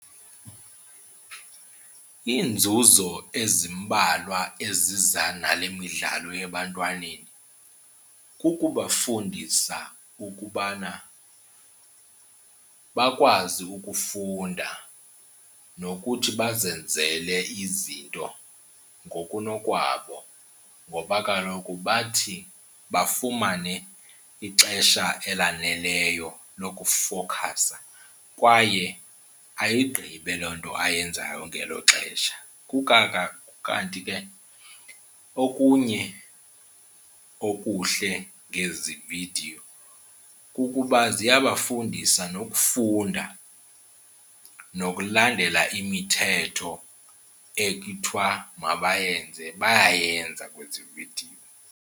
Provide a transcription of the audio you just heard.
Iinzuzo ezimbalwa eziza nale midlalo ebantwaneni kukubafundisa ukubana bakwazi ukufunda nokuthi bazenzele izinto ngokunokwabo ngoba kaloku bathi bafumane ixesha elaneleyo lokufokhasa kwaye ayigqibe loo nto ayenzayo ngelo xesha. Kukanti ke okunye okuhle ngezi vidiyo kukuba ziyabafundisa nokufunda, nokulandela imithetho ekuthiwa mabayenze bayayenza kwezi vidiyo.